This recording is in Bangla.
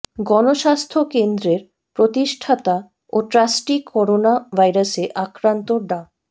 গণস্বাস্থ্য কেন্দ্রের প্রতিষ্ঠাতা ও ট্রাস্টি করোনা ভাইরাসে আক্রান্ত ডা